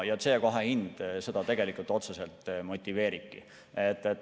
CO2 hind seda tegelikult otseselt motiveeribki.